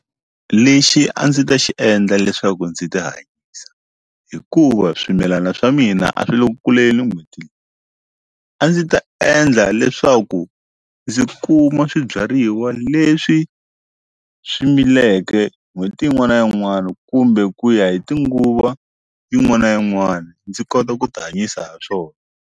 Lexi a ndzi ta xi endla leswaku ndzi ti hanyisa hikuva swimilana swa mina a swi le ku kuleni n'hweti leyi a ndzi ta endla leswaku ndzi kuma swibyariwa leswi swi mileke n'hweti yin'wana na yin'wana kumbe ku ya hi tinguva yin'wana na yin'wana ndzi kota ku ti hanyisa ha swona.